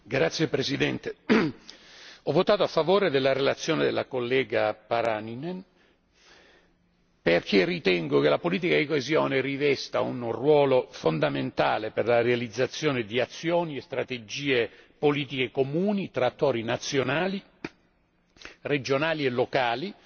Signor Presidente, ho votato a favore della relazione della collega Pakarinen perché ritengo che la politica di coesione rivesta un ruolo fondamentale per la realizzazione di azioni e strategie politiche comuni fra attori nazionali, regionali e locali